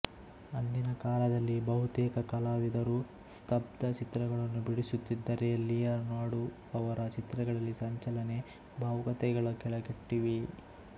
ಅಂದಿನ ಕಾಲದಲ್ಲಿ ಬಹುತೇಕ ಕಲಾವಿದರು ಸ್ಥಬ್ಧ ಚಿತ್ರಗಳನ್ನು ಬಿಡಿಸುತ್ತಿದ್ದರೆ ಲಿಯನಾರ್ಡೋ ಅವರ ಚಿತ್ರಗಳಲ್ಲಿ ಸಂಚಲನೆ ಭಾವುಕತೆಗಳೂ ಕಳೆಗಟ್ಟಿವೆ